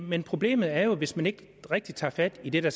men problemet er jo hvis man ikke rigtig tager fat i det der